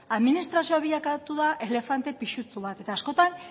administrazioa bilakatu da elefante pisutsu bat eta askotan